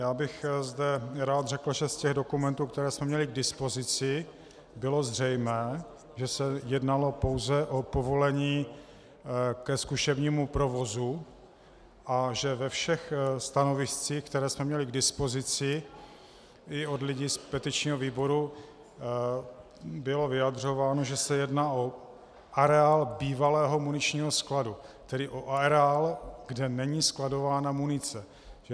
Já bych zde rád řekl, že z těch dokumentů, které jsme měli k dispozici, bylo zřejmé, že se jednalo pouze o povolení ke zkušebnímu provozu a že ve všech stanoviscích, která jsme měli k dispozici i od lidí z petičního výboru, bylo vyjadřováno, že se jedná o areál bývalého muničního skladu, tedy o areál, kde není skladována munice.